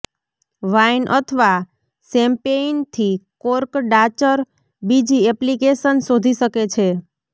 wine અથવા શેમ્પેઈનથી cork ડાચર બીજી એપ્લિકેશન શોધી શકે છે